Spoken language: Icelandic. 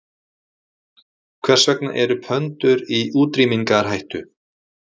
Hvers vegna eru pöndur í útrýmingarhættu?